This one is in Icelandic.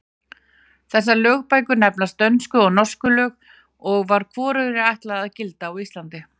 Þessar lögbækur nefnast Dönsku og Norsku lög og var hvorugri ætlað að gilda á Íslandi.